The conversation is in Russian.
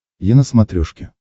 е на смотрешке